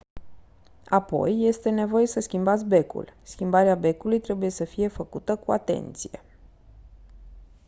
apoi este nevoie să schimbați becul schimbarea becului trebuie să fie făcută cu atenție